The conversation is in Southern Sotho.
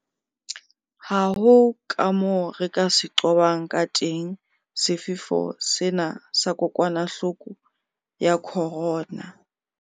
Ha ho kamoo re ka se qobang kateng sefefo sena sa kokwanahloko ya corona.